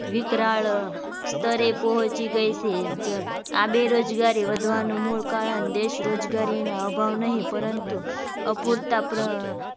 વિકરાળ તરે પહોંચી ગઈ છે આ બેરોજગારી વધવાનું મૂળ કારણ દેશ રોજગારીનો અભાવ નહીં પરંતુ અપૂરતા પ્ર